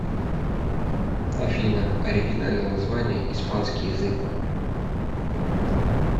афина оригинальное название испанский язык